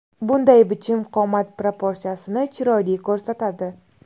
Bunday bichim qomat proporsiyasini chiroyli ko‘rsatadi.